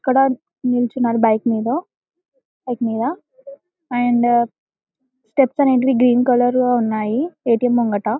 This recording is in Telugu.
ఇక్కడ నీచున్నారు బైక్ మీద బైక్ మీద అండ్ త్రిప్పేర్ అనేది గ్రీన్ కలర్ లో ఉన్నాయి ఎ.టి.ఎం ముంగిట.